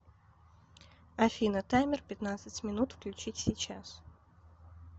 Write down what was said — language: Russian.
афина таймер пятнадцать минут включить сейчас